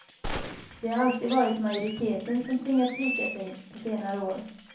Det har alltid varit majoriteten som tvingats vika sig, på senare år.